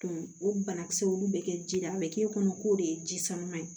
o banakisɛ ninnu bɛ kɛ ji la an bɛ k'e kɔnɔ k'o de ye ji suman ye